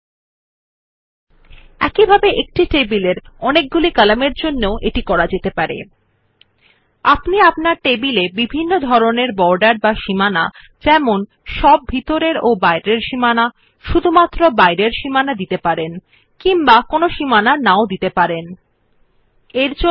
আপনি টেবিলে বিভিন্ন ধরনের বর্ডার দিতে পারেন কোনো বর্ডার নেই আপনার টেবিল ইত্যাদি সমস্ত ভিতরের এবং বাইরের সীমানা অথবাশুধুমাত্র বহিঃস্থ সীমানা থাকার জন্য আপনি আপনার টেবিল জন্য সীমান্তের বিভিন্ন ধরণের সেট করতে পারবেনYou can set different kinds of borders for your table from having no borders at all to having all inner and outer borders or only outer borders in your table etc